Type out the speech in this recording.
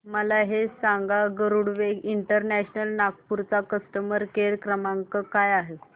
मला हे सांग गरुडवेग इंटरनॅशनल नागपूर चा कस्टमर केअर क्रमांक काय आहे